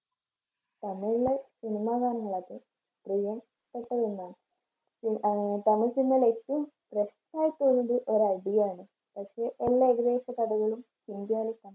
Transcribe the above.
തമിഴിലെ cinema കാണുന്നത് , ആഹ് തമിഴ് cinema യില് ഏറ്റവും ഒരടിയാണ്